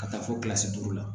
Ka taa fo kilasi duuru la